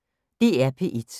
DR P1